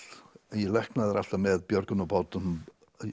en ég læknaði þær alltaf með björgunarbátum